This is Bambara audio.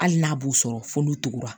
Hali n'a b'u sɔrɔ f'olu tugura